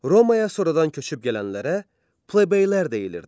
Romaya sonradan köçüb gələnlərə plebeylər deyilirdi.